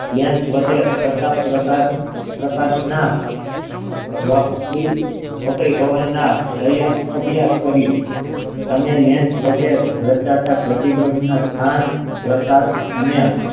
Lens વડે છતાં પ્રકા ~પ્રકાશ ના વક્રી ~વક્રીભવન ના અભ્યાસ કર્યો તમે lens વડે રચાતા પ્રતિબંધ ના સ્થાન પ્રકાર અને